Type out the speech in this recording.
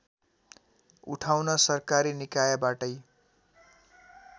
उठाउन सरकारी निकायबाटै